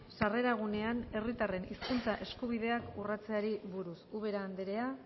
sarreragunean herritarren hizkuntza eskubideak urratzeari buruz ubera andrea